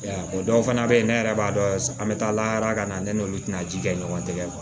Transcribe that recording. O dɔw fana bɛ yen ne yɛrɛ b'a dɔn an bɛ taa lakalan ne n'olu tɛna ji kɛ ɲɔgɔn tɛgɛ ma